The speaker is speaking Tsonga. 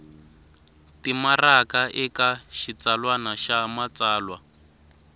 timaraka eka xitsalwana xa matsalwa